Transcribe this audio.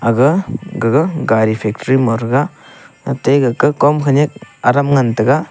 aga gaga gari factory factory ma threga ate gaka kom khenyak aram ngan taiga.